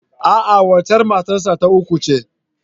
A'a, waccen matar sa ta uku ce.